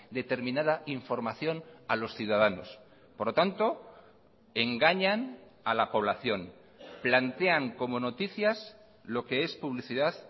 determinada información a los ciudadanos por lo tanto engañan a la población plantean como noticias lo que es publicidad